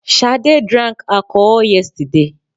Sade drank alcohol yesterday